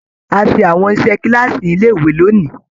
A ṣe àwọn iṣẹ kilaasi nílé ìwé lóni.